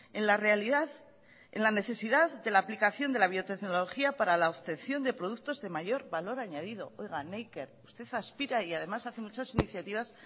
en la realidad en la necesidad de la aplicación de la biotecnología para la obtención de productos de mayor valor añadido oiga neiker usted aspira y además hace muchas iniciativas